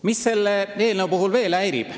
Mis selle eelnõu puhul veel häirib?